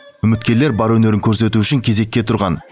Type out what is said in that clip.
үміткерлер бар өнерін көрсету үшін кезекке тұрған